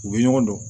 U bɛ ɲɔgɔn dɔn